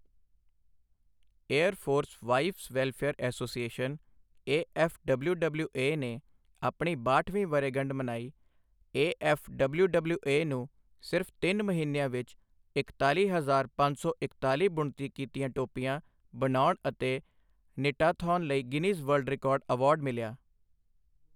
air force wives welfare association AFWWA ਨੇ ਆਪਣੀ ਬਾਹਠਵੀਂ ਵਰ੍ਹੇਗੰਢ ਮਨਾਈ ਏਐੱਫਡਬਲਿਊਡਬਲਿਊਏ ਨੂੰ ਸਿਰਫ਼ ਤਿੰਨ ਮਹੀਨਿਆਂ ਵਿੱਚ ਇਕਤਾਲੀ ਹਜ਼ਾਰ ਪੰਜ ਸੌ ਇਕਤਾਲੀ ਬੁਣਤੀ ਕੀਤੀਆਂ ਟੋਪੀਆਂ ਬਣਾਉਣ ਤੇ ਨਿਟਾਥੌਨ ਲਈ ਗਿਨੀਜ਼ ਵਰਲਡ ਰਿਕਾਰਡ ਅਵਾਰਡ ਮਿਲਿਆ